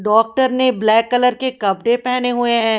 Doctor ने black colour के कपड़े पेहने हुए है।